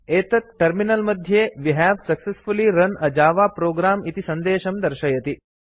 एतत् code terminal मध्ये we have successfully run a java program इति सन्देशं प्रदर्शयति